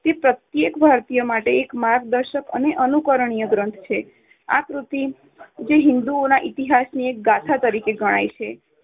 તે પ્રત્યેક ભારતીય માટે એક માર્ગદર્શક કે અનુકરણીય ગ્રંથ છે. આ કૃતિ હિન્દુઓના ઇતિહાસની એક ગાથા તરીકે ગણાય છે.